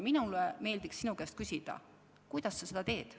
Minule meeldiks sinu käest küsida, kuidas sa seda teed.